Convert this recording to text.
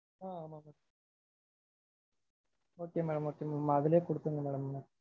ஆஹ் okay mam. okay mam. அதுலையே குடுத்துருங்க madam.